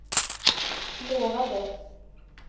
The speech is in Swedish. lovade